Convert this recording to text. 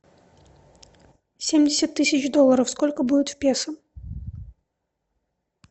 семьдесят тысяч долларов сколько будет в песо